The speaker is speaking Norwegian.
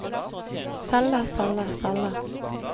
selge selge selge